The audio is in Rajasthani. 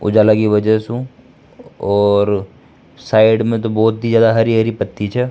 उजाला की वजह सु और साइड में तो बहुत ही ज्यादा हरी हरी पती छ।